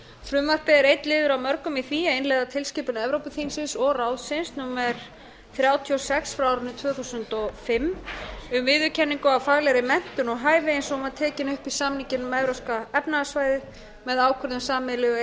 frumvarpið er einn liður af mörgum í því að innleiða tilskipun evrópuþingsins og ráðsins númer þrjátíu og sex frá árinu tvö þúsund og fimm um viðurkenningu á faglegri menntun og hæfi eins og hún var tekin upp í samninginn um evrópska efnahagssvæðið með ákvörðun sameiginlegu e e